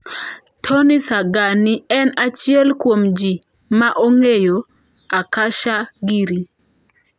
Tony Sanghani en achiel kuom ji ma ong'eyo Akasha giri.